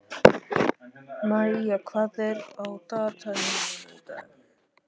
Maía, hvað er á dagatalinu mínu í dag?